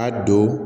A don